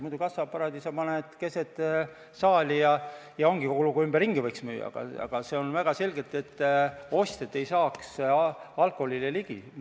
Muidu sa paned kassaaparaadi keset saali ja ongi kogu lugu, ümberringi võiks müüa, aga seal on väga selgelt öeldud, et ostjad ei saaks alkoholile ligi.